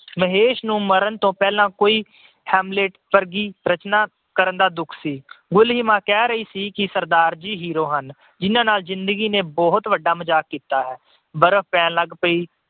ਮਹੇਸ਼ ਨੂੰ ਮਰਨ ਤੋਂ ਪਹਿਲਾਂ ਕੋਈ Helmet ਵਰਗੀ ਰਚਨਾ ਕਰਨ ਦਾ ਦੁੱਖ ਸੀ। ਗੁਲੀਮਾ ਕਹਿ ਰਹੀ ਸੀ ਕਿ ਸਰਦਾਰ ਜੀ hero ਹਨ ਜਿਹਨਾਂ ਨਾਲ ਜਿੰਦਗੀ ਨੇ ਬਹੁਤ ਵੱਡਾ ਮਜਾਕ ਕੀਤਾ ਹੈ। ਬਰਫ ਪੈਣ ਲੱਗ ਪਈ।